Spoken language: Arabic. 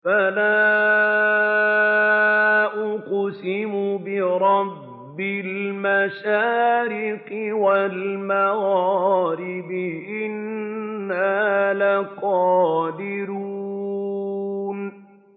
فَلَا أُقْسِمُ بِرَبِّ الْمَشَارِقِ وَالْمَغَارِبِ إِنَّا لَقَادِرُونَ